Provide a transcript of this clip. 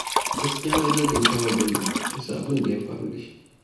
Gaskiya na jajanta wa Bello bisa abin da ya faru da shi.